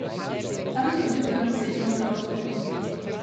Tam je tudi prvič sedla za orgle.